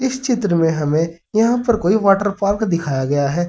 इस चित्र में हमें यहां पर कोई वाटर पार्क दिखाया गया है।